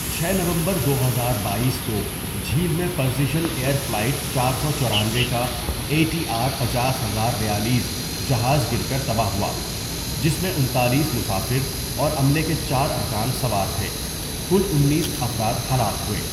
چھ نومبر دو ہزار باٮٔیس کو جھیل میں پرسیژن ایئر فلائٹ چار سو چورانوے کا اے ٹی آر پچاس ہزار بیالیس جہاز گر کر تباہ ہوا جس میں انتالیس مسافر اور عملے کے چار ارکان سوار تھے کل انیس افراد ہلاک ہوئے.